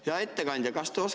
Hea ettekandja!